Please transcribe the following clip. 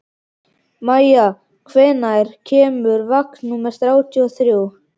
Maia, hvenær kemur vagn númer þrjátíu og þrjú?